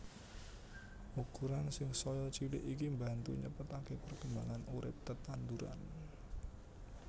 Ukuran sing saya cilik iki mbantu nyepetaké perkembangan urip tetanduran